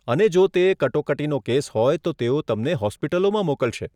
અને જો તે કટોકટીનો કેસ હોય તો તેઓ તમને હોસ્પિટલોમાં મોકલશે.